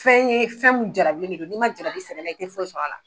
Fɛn ye fɛn min jarabi de do n'i man jarabi sɛnɛ la i tɛ foyi sɔrɔ a la.